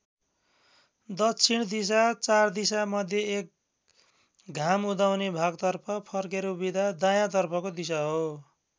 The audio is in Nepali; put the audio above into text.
दक्षिण दिशा चार दिशा मध्ये एक घाम उदाउने भागतर्फ फर्केर उभिँदा दायाँ तर्फको दिशा हो।